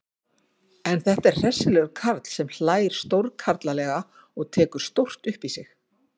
En þetta er hressilegur karl sem hlær stórkarlalega og tekur stórt upp í sig.